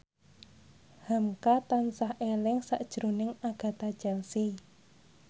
hamka tansah eling sakjroning Agatha Chelsea